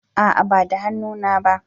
A'a ba da hannu na ba